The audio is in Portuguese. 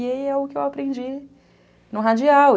E aí é o que eu aprendi no radial.